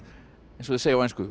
eins og þeir segja á ensku